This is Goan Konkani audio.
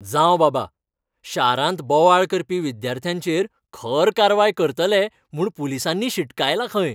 जावं बाबा, शारांत बोवाळ करपी विद्यार्थ्यांचेर खर कारवाय करतले म्हूण पुलिसांनी शिटकायलां खंय.